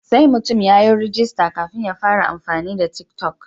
Sai mutum ya yi rajista kafin ya fara amfani da tik toc.